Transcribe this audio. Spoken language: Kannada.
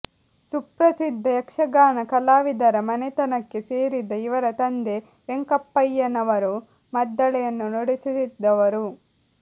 ಸುಪ್ರಸಿದ್ಧ ಯಕ್ಷಗಾನ ಕಲಾವಿದರ ಮನೆತನಕ್ಕೆ ಸೇರಿದ ಇವರ ತಂದೆ ವೆಂಕಪ್ಪಯ್ಯನವರು ಮದ್ದಳೆಯನ್ನು ನುಡಿಸುತ್ತಿದ್ದವರು